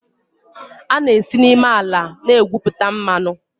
A na-esi n'ime ala na-egwupụta mmanụ.